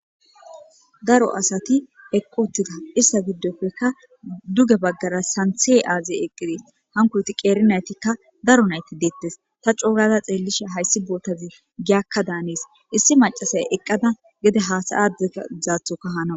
daro asati eqqotida issa giddofeka duge baggara santhee aazey eqqidees hankuti qeernaytikka daro nayti deettes ta coogada xeellisha hayssi bootazi giyakka daanees issi macasay eqqada gede haasayade zaathoka hanawa